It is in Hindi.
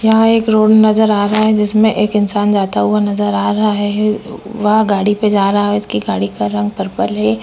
यहाँ एक रोड नज़र आ रहा है जिसने एक इंसान जाता हुआ नज़र आ रहा है वह गाड़ी पे जा रहा है उसकी गाड़ी का रंग पर्पल है।